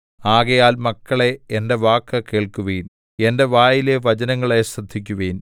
ആകയാൽ മക്കളേ എന്റെ വാക്ക് കേൾക്കുവിൻ എന്റെ വായിലെ വചനങ്ങളെ ശ്രദ്ധിക്കുവിൻ